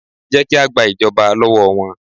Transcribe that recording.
Jẹ́ ki a gba ìjọba lọ́wọ́ wọn